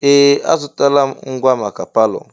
Ee! Azụtala m ngwa maka palọ.